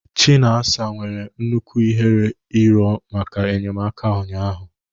Chinasa nwere nnukwu ihere ịrịọ maka enyemaka ụnyaahụ